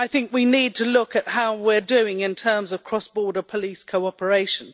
We need to look at how we are doing in terms of cross border police cooperation.